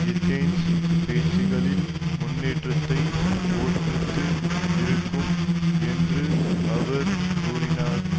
Athens பேச்சுக்களில் முன்னேற்றத்தைப் பொறுத்து இருக்கும் என்று அவர் கூறினார்